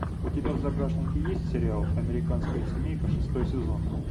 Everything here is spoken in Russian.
у тебя в загашнике есть сериал американская семейка шестой сезон